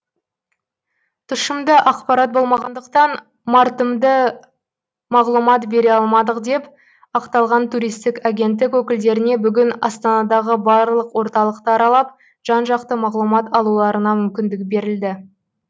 тұшымды ақпарат болмағандықтан мардымды мағлұмат бере алмадық деп ақталған туристік агенттік өкілдеріне бүгін астанадағы барлық орталықты аралап жан жақты мағлұмат алуларына мүмкіндік берілді